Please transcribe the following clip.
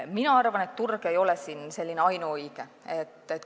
Mina arvan, et turg ei ole siin ainuõige alus.